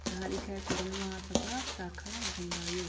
यहाँ लिखा है कुर्मा महासभा शाखा बदायूँ।